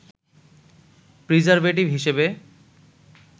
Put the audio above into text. preservative হিসেবে